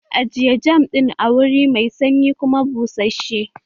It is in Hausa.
Ajiye jam ɗin a wuri mai sanyi kuma bussashe!